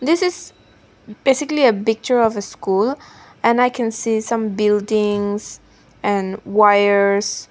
this is basically a picture of a school and i can see some buildings and wires --